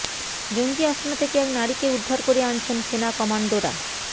জঙ্গি আস্তানা থেকে এক নারীকে উদ্ধার করে আনছেন সেনা কমান্ডোরা